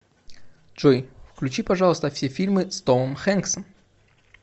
джой включи пожалуйста все фильмы с томом хэнксом